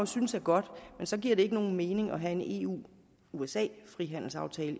synes er godt men så giver det ikke nogen mening at have en eu usa frihandelsaftale